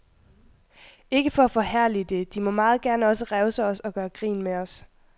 Ikke for at forherlige det, de må meget gerne også revse os og gøre grin med os.